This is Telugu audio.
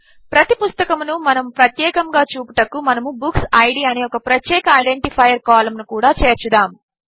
ప్రతి పుస్తకమును ప్రత్యేకముగా చూపుటకు మనము బుక్సిడ్ అనే ఒక ప్రత్యేక ఐడెంటిఫైయ్యర్ కాలంను కూడా చేర్చుదాము